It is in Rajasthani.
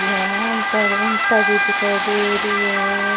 यहाँ पर ईटा भी दिखाई देरी है।